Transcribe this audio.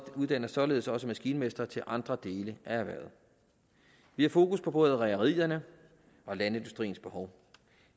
uddanner således også maskinmestre til andre dele af erhvervet vi har fokus på både rederiernes og landindustriens behov